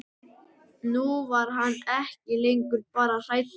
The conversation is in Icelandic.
Nú var hann ekki lengur bara hræddur um